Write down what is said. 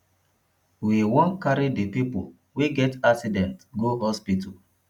we wan carry di pipo wey get accident go hospital